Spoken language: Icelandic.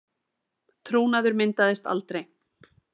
Trúnaður myndaðist aldrei